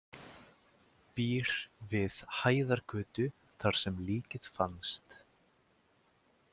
Býr við Hæðargötu þar sem líkið fannst.